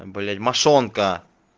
блять мошонка